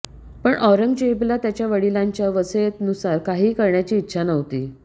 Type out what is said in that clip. पण औरंगजेबला त्याच्या वडिलांच्या वसीयतनुसार काहीही करण्याची इच्छा नव्हती